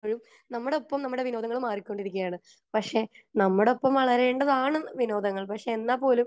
നമ്മുടെ ഒപ്പം നമ്മുടെ വിനോദങ്ങൾ മാറിക്കൊണ്ടിരിക്കുകയാണ് പക്ഷെ നമ്മുടെ ഒപ്പം വളരേണ്ടതാണ് വിനോദങ്ങൾ പക്ഷെ എന്നുപോലും